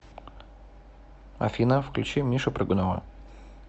афина включи мишу прыгунова